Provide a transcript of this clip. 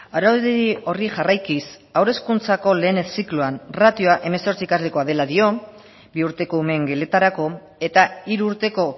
araudi horri jarraikiz haur hezkuntzako lehen zikloan ratioa hemezortzi ikaslekoa dela dio bi urteko umeen geletarako eta hiru urteko